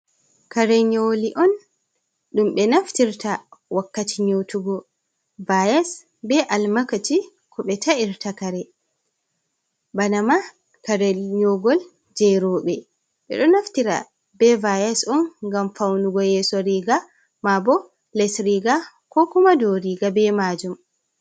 Kare nyoli on dum be naftirta wakkati nyotugo. Vyas be almakaci ko be ta’irta kare bana ma kare nyogol je robe be do naftira be vius on gam faunugo yeso riga ma bo les riga, ko kuma dow riga be majum.